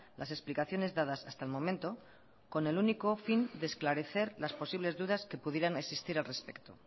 las explicaciones dadas hasta el momento con el único fin de esclarecer las posibles dudas que pudieran existir al respecto